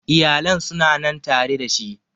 Iyalan su na nan tare da shi